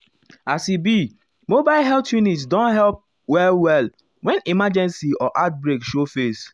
as e be mobile health unit deyum help well-well when emergency or outbreak show face.